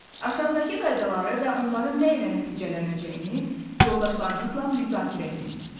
Aşağıdakı qaydaları və onların nə ilə nəticələnəcəyini yoldaşlarınızla müzakirə edin.